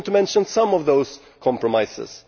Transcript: I just want to mention some of those compromises.